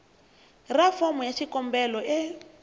ra fomo ya xikombelo e